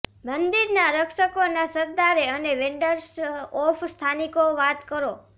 મંદિરના રક્ષકોના સરદારે અને વેન્ડરર્સ ઓફ સ્થાનિકો વાત કરો